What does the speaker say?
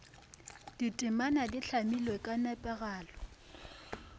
ditemana di hlamilwe ka nepagalo